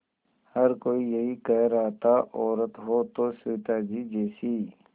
हर कोई यही कह रहा था औरत हो तो सविताजी जैसी